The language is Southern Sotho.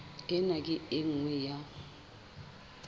ena ke e nngwe ya